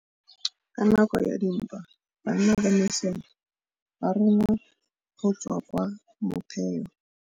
Ka nakô ya dintwa banna ba masole ba rongwa go tswa kwa mothêô.